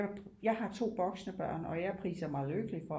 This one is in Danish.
Jeg har to voksne børn og jeg priser mig lykkelig for